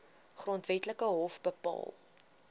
grondwetlike hof bepaal